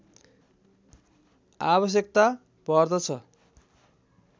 आवश्यकता पर्दछ